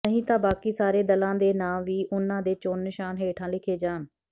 ਨਹੀਂ ਤਾਂ ਬਾਕੀ ਸਾਰੇ ਦਲਾਂ ਦੇ ਨਾਂ ਵੀ ਉਨ੍ਹਾਂ ਦੇ ਚੋਣ ਨਿਸ਼ਾਨ ਹੇਠਾਂ ਲਿਖੇ ਜਾਣ